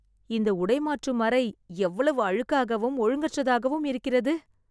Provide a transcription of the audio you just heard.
இந்த உடை மாற்றும் அறை எவ்வளவு அழுக்காகவும் ஒழுங்கற்றதாகவும் இருக்கிறது